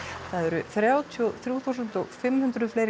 það eru þrjátíu og þrjú þúsund og fimm hundruð fleiri